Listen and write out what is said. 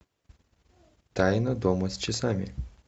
тайна дома с часами